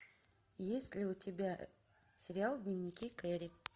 есть ли у тебя сериал дневники кэрри